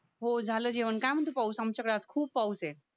हो झालं जेवण काय म्हणते पाऊस आमच्याकडे आज खूप पाऊस आहे